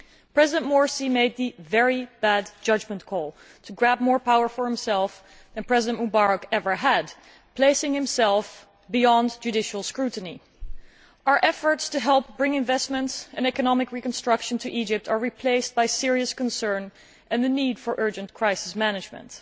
President Morsi made the very bad judgement of grabbing more power than President Mubarak had ever had, placing himself beyond judicial scrutiny. Our efforts to help bring investments and economic reconstruction to Egypt are replaced by serious concern and the need for urgent crisis management.